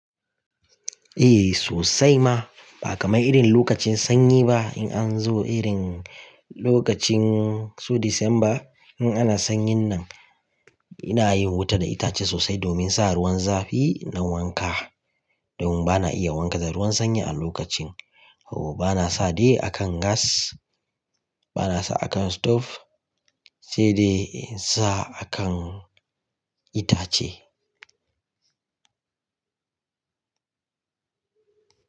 Eh sosai ma ba kamar irin lokacin sanyi ba in an zo irin lokacin su Disamba in ana sanyin nan ina yin wuta da itace sosai domin sa ruwan zafi na wanka domin bana iya wanka da ruwan sanyi a lokacin. Haba bana sa de akan gas bana sa akan stove sai dai sa akan itace.